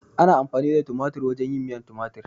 Ana amfani da tumatir wajen yin miyan tumatir